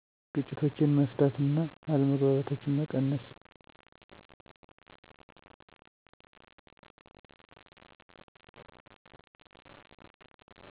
ግጭቶችን መፍታት እና አለመግባባቶችን መቀነስ